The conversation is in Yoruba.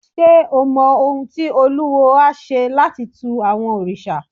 Ṣé o mọ ohun tí olúwo á ṣe láti tu àwọn òrìṣà?